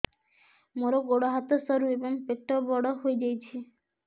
ମୋର ଗୋଡ ହାତ ସରୁ ଏବଂ ପେଟ ବଡ଼ ହୋଇଯାଇଛି